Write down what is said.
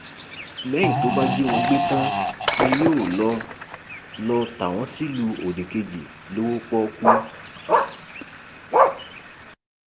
lẹyìn tó bá jí wọn gbé tán ni yóò lọọ lọọ ta wọn sílùú òdìkejì lọwọ pọọkú